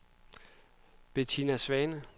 Betina Svane